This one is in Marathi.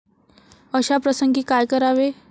अशा प्रसंगी काय करावे?